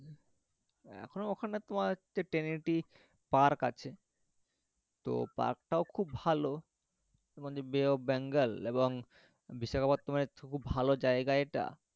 এখনও ওখানে তোমার হচ্ছে tranity park আছে তো park টাও খুব ভালো তোমাদের bay of bengal এবং বিশাখাপাত্তানাম এর তো খুব ভালো জায়গা এটা,